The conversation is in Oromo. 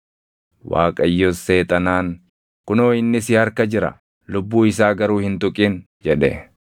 Waaqayyos Seexanaan, “Kunoo inni si harka jira; lubbuu isaa garuu hin tuqin” jedhe.